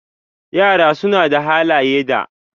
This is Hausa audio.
Yara suna da halaye da.